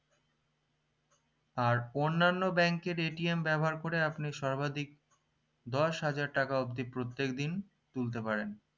আর অন্যনো bank এর ব্যাবহার করে আপনি সর্বাধিক দশ হাজার টাকা অবদি প্রত্যেকদিন তুলতে পারেন